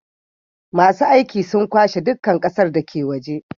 masu aiki sun kwashe duka ƙasar dake waje